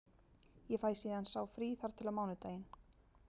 Ég fæ síðan sá frí þar til á mánudaginn.